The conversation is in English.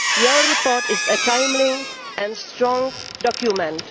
Your report is a timely and strong document.